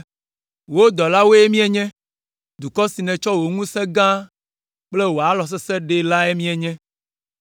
“Wò dɔlawoe míenye, dukɔ si nètsɔ wò ŋusẽ gã kple wò alɔ sesẽ la ɖee lae míenye.